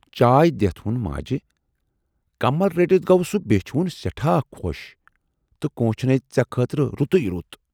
چائے دِتھ وون ماجہِ"کمل رٔٹِتھ گوٚو سُہ بیچھِ وُن سٮ۪ٹھاہ خۅش تہٕ کوٗنچھنے ژے خٲطرٕ رُتُے رُت